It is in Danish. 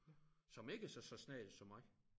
Som ikke er så snakkesaglig som mig